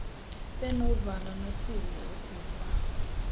benovalo nosizi ukuva